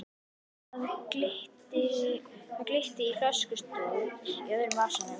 Það glitti í flöskustút í öðrum vasanum.